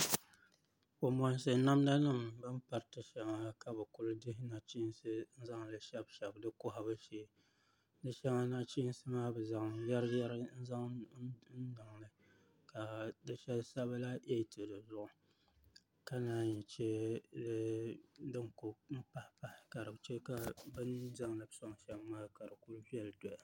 Kanbonsi namdanim bin piriti shɛŋa ka bɛ kuli dihi nachinsi zanli shɛbi shɛbi di kohabɛ shee di shɛŋa nachinsimaa bi zan yɛriyɛri n zan niŋ di puuni ka di shɛbi sabila eetɛ dizuɣu ka naan yi che din kuli pahipahi ka dichɛ binzaŋli sonshɛm maa kadi kuli viɛli doya